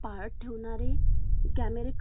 कॅमेरे कर्मचाऱ्यांच्या सुरक्षतेत